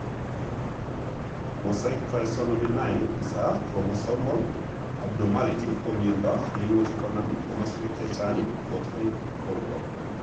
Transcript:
Mosaic trisomy 9 is a chromosomal abnormality ko miondo nimuche konam komoswek chechang kot en porto.